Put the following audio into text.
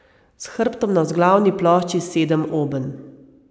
S hrbtom na vzglavni plošči sedem obenj.